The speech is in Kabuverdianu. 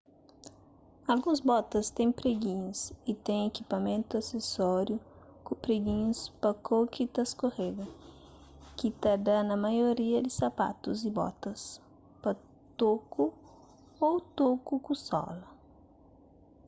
alguns botas ten preginhus y ten ikipamentu asesóriu ku preginhus pa kau ki ta skorega ki ta da na maioria di sapatus y botas pa toku ô toku ku sola